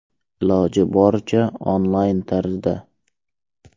Iloji bo‘lsa, onlayn tarzda.